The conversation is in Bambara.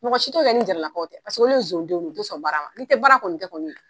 Mɔgɔ si tɔ kɛ nin Jara lakaw tɛ, paseke olu ye nson denw ye, u tɛ son baara ma ni tɛ baara kɔni kɛ kɔni.